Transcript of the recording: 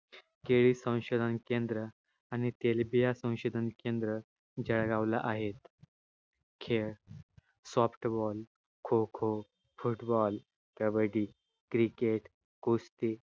केळी संशोधन केंद्र आणि तेलबिया संशोधन केंद्र जळगावला आहेत. खेळ softball kho-kho, football kabaddi cricket कुस्ती